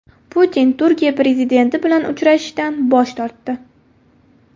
Putin Turkiya prezidenti bilan uchrashishdan bosh tortdi .